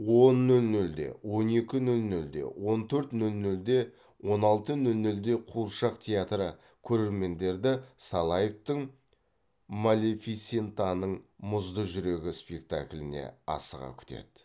он нөл нөлде он екі нөл нөлде он төрт нөл нөлде он алты нөл нөлде қуыршақ театры көрермендерді салаевтың малефисентаның мұзды жүрегі спектакліне асыға күтеді